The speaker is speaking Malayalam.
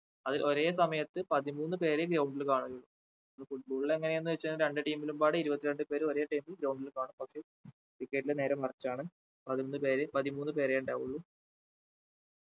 അതിൽ ഒരേ സമയത്ത് പതിമൂന്ന് പേരെയും ground ൽ കാണാം football ൽ എങ്ങനെ എന്ന് വെച്ചാൽ രണ്ടു team ലും പാടെ ഇരുപത്തി രണ്ടു പേരും ഒരേ time ൽ ground കാണാം പക്ഷെ cricket ൽ നേരെ മറിച്ചാണ് പതിനൊന്ന് പേരെ പതിമൂന്ന് പേരെ ഉണ്ടാവുള്ളൂ